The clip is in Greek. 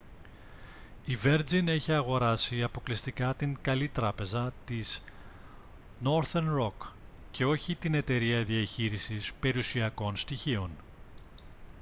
η βέρτζιν έχει αγοράσει αποκλειστικά την «καλή τράπεζα» της νόρθερν ροκ και όχι την εταιρεία διαχείρισης περιουσιακών στοιχείων